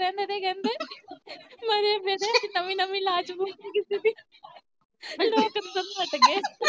ਨਵੀਂ ਨਵੀਂ ਲਾਸ਼ ਹੋਣੀ ਕਿਸੇ ਦੀ ਲੋਕ ਅੰਦਰ ਨੂੰ ਨੱਠ ਗਏ